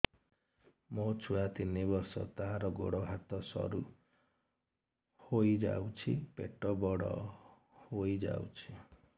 ମୋ ଛୁଆ ତିନି ବର୍ଷ ତାର ଗୋଡ ହାତ ସରୁ ହୋଇଯାଉଛି ପେଟ ବଡ ହୋଇ ଯାଉଛି